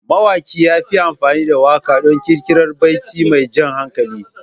Mawaƙin ya yi amfani da waƙa don ƙirƙirar baiti mai jan hankali.